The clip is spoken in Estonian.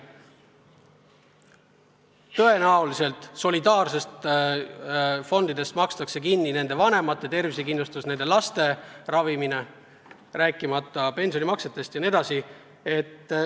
Tõenäoliselt solidaarsetest fondidest makstakse kinni nende vanemate tervisekindlustus, nende laste ravimine, rääkimata pensionimaksetest jne.